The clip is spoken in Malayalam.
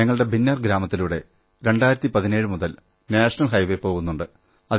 ഞങ്ങളുടെ ഭിന്നർ ഗ്രാമത്തിലൂടെ 2017 മുതൽ നാഷണൽ ഹൈവേ പോകുന്നുണ്ട്